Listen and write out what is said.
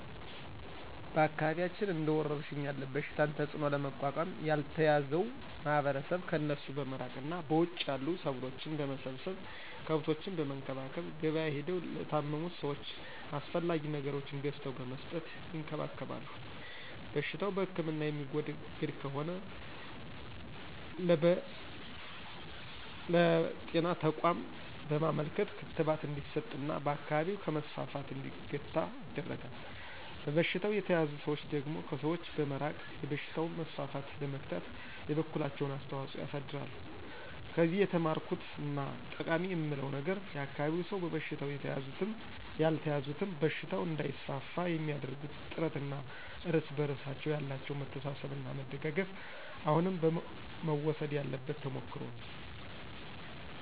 በአካባቢያችን እንደ ወረርሽኝ ያለ በሽታን ተጽዕኖ ለመቋቋም ያልተያዘው ማህበረሰብ ከእነሱ በመራቅ እና በውጭ ያሉ ሰብሎችን በመሰብሰብ፣ ከብቶችን በመንከባከብ፣ ገብያ ሄደው ለታመሙት ሰወች አስፈላጊ ነገሮችን ገዝተው በመስጠት ይንከባከባሉ። በሽታው በህክምና የሚወገድ ከሆነ ለብጤና ተቋም በማመልከት ክትባት እንዲስጥ እና በአካባቢው ከመስፋፋት እንዲገታ ይደረጋል። በበሽታው የተያዙ ሰዎች ደግሞ ከሰዎች በመራቅ የበሽታውን መስፋፋት ለመግታት የበኩላቸውን አስተዋፅኦ ያሳድራሉ። ከዚህ የተማርኩት እና ጠቃማ የምለው ነገር የአካባቢው ሰው በበሽታው የተያዙትም ያልተያዙትም በሽታው እንዳይስፋፋ የሚአደርጉት ጥረት እና እርስ በርሳቸው ያላቸው መተሳሰብ እና መደጋገፍ አሁንም መወሰድ ያለበት ተሞክሮ ነው።